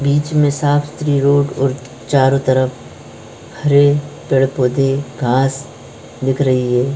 बीच में साफ़-सुतरी रोड़ और चारों तरफ हरे पेड़-पौधे घास दिख रही है।